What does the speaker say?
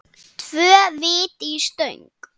Tvö víti í stöng?